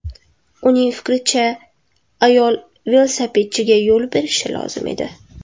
Uning fikricha, ayol velosipedchiga yo‘l berishi lozim edi.